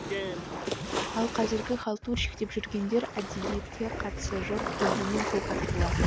ал қазіргі халтурщик деп жүргендер әдебиетке қатысы жоқ көлденең көк аттылар